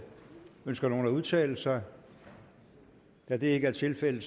ønsker nogen at udtale sig da det ikke er tilfældet